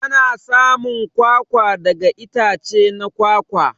Ana samun kwakwa daga itace na kwakwa.